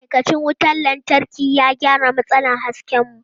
Ma'aikacin wutar lantarki ya gyara matsalar hasken mu.